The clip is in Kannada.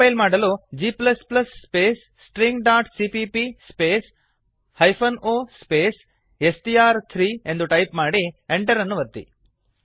ಕಂಪೈಲ್ ಮಾಡಲು g ಸ್ಪೇಸ್ stringcppಸ್ಟ್ರಿಂಗ್ dot CPP space -o hyphen space ಸ್ಟ್ರ್3 ಎಸ್ ಟಿ ಆರ್ ಥ್ರೀ ಎಂದು ಟೈಪ್ ಮಾಡಿ enter ಅನ್ನು ಒತ್ತಿ